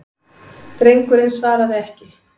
Drengurinn svaraði ekki.